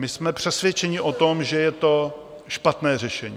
My jsme přesvědčeni o tom, že je to špatné řešení.